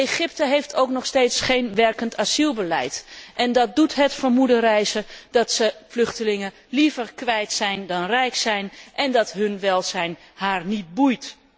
Egypte heeft ook nog steeds geen werkend asielbeleid en dat doet het vermoeden rijzen dat zij vluchtelingen liever kwijt dan rijk zijn, en dat hun welzijn Egypte niet boeit.